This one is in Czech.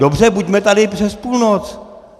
Dobře, buďme tady přes půlnoc!